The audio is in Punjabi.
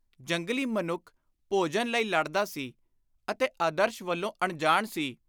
ਜੰਗਲੀ ਮਨੁੱਖ ਭੋਜਨ ਲਈ ਲੜਦਾ ਸੀ ਅਤੇ ਆਦਰਸ਼ ਵੱਲੋਂ ਅਨਜਾਣ ਸੀ।